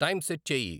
time set చేయి